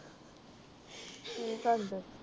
ਕਿ ਕਰਦੇ